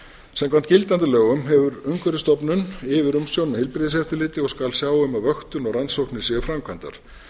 samkvæmt gildandi lögum hefur umhverfisstofnun yfirumsjón með heilbrigðiseftirliti og skal sjá um að vöktun og rannsóknir séu framkvæmdar